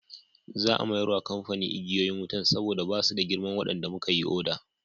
Za a mayar wa kamfanin igiyoyin wutan saboda ba su da girman waɗanda muka yi oda.